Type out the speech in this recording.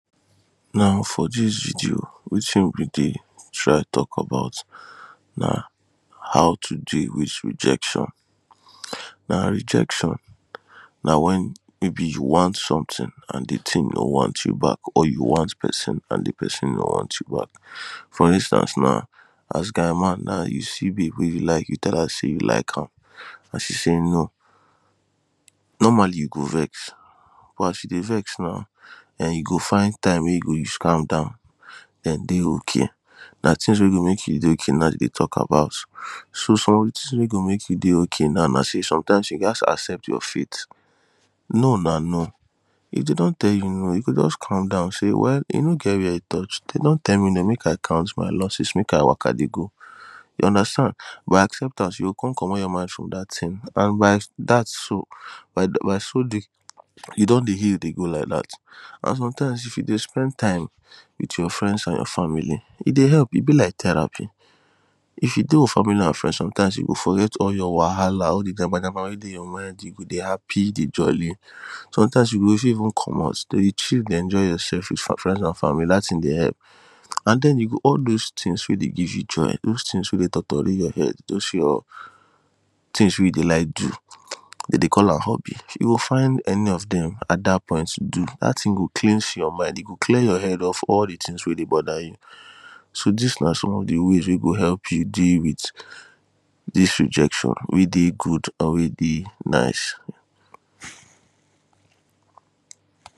Now for this video wetin we dey try talk about na how to deal with rejection now rejection na when maybe you want something and the thing no want you back or you want person and the person no want you back for instance now as guy man now you see babe wey you like you tell am say you like am and she say no. Normally you go vex but as you dey vex now um you go find time wey you go use calm down then dey okay na things we go dey make you dey okay naidey talk about. So some things wey go make you okay now na day sometimes you ghast accept your fate no na no If dey don tell you no you go just calm down say well e no get where e touch dey don tell me no make I count my losses make I waka dey go you understand by acceptance you go come commot your mind from that thing and by that so by so doing you don dey heal dey go like that and sometimes if you dey spend time with your friends and your family e dey help e be like therapy if you dey with family and friends sometimes you go forget all your whahala all the yamayama wey dey your mind you go dey happy dey jolly sometimes you go dey fit even comot then you chill dey enjoy yourself with your friends and family that thing dey help and then you go all those things weydey give you joy all those things weydeytotori your head those your things wey you dey like do dem dey call am hobby you go find any of them at that point do that thing go cleanse your mind e go clear your head off all the things wey dey bother you so this na some of the ways wey go help you deal with this rejection wey dey good and wey dey nice